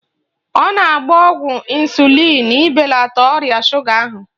Ọ na-agba ọgwụ ịnsulịn ibelata ọrịa shuga ahụ